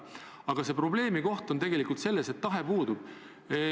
Aga probleem on tegelikult selles, et tahe puudub.